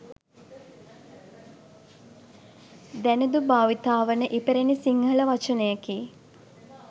දැනුදු භාවිතා වන ඉපැරණි සිංහල වචනයකි